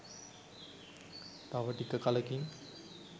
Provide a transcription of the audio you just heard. තව ටික කලකින්